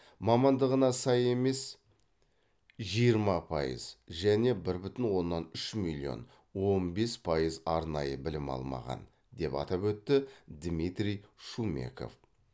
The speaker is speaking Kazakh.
мамандығына сай емес емес жиырма пайыз және бір бүтін оннан үш миллион он бес пайыз арнайы білім алмаған деп атап өтті дмитрий шумеков